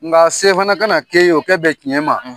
Nga se fana ka na k'e ye, o ka bɛn tiɲɛ ma